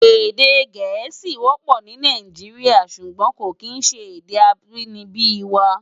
Èdè Gẹẹsi wọpọ ni Náijiriá ṣúgbòn kó kín ṣé èdè ábìníbi wá